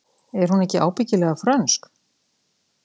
Er hún ekki ábyggilega frönsk?